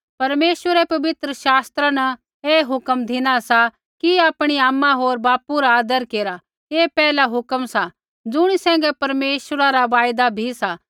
परमेश्वरै पवित्र शास्त्रा न ऐ हुक्म धिना सा कि आपणी आमा होर बापू रा आदर केरा ऐ पहला हुक्म सा ज़ुणी सैंघै परमेश्वरा रा वायदा भी सा